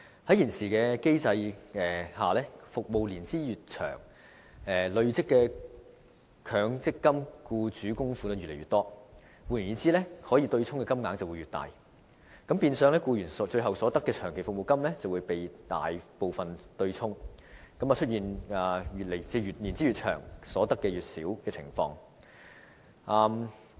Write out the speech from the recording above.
在現時機制下，服務年資越長，累積的僱主強積金供款便越多，換言之，可以對沖的金額便會越大，變相僱員應得的長期服務金便會大部分被對沖，出現服務年資越長，所得越少的情況。